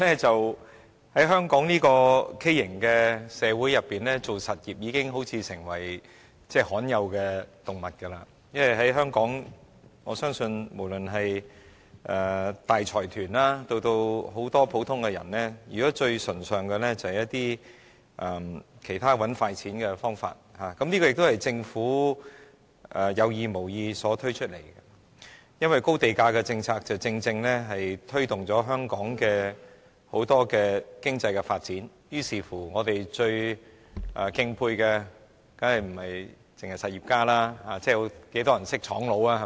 在香港這個畸形社會中，從事實業的人好像已成為罕有動物，因為在香港，我相信不論是大財團或很多普通人，現時最崇尚的是很多其他賺快錢的方法，這也是政府在有意無意間造成的，因為高地價政策正正推動了香港很多經濟發展，於是我們最敬佩的當然不是實業家，而有多少人認識廠家呢？